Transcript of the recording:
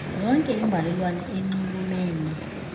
yonke imbalelwano enxulumene